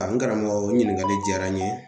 A n karamɔgɔ, o ɲininkali jiyara n ye.